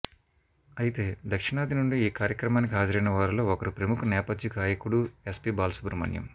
అయితే దక్షిణాది నుండి ఈ కార్యక్రమానికి హాజరైన వారిలో ఒకరు ప్రముఖ నేపధ్య గాయకుడూ ఎస్పీ బాలసుబ్రహ్మణ్యం